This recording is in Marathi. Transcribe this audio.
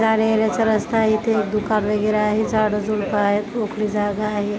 जाण्यायेण्याचं रस्ता आहे इथे दुकान वगैरे आहे झाड झुड्प आहेत. मोकळी जागा आहे.